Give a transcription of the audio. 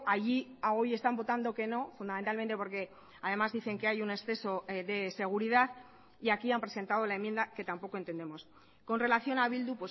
allí a hoy están votando que no fundamentalmente porque además dicen que hay un exceso de seguridad y aquí han presentado la enmienda que tampoco entendemos con relación a bildu